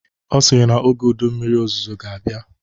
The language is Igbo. Ọ sịrị na oge ụdị mmiri ozuzo ga-abịa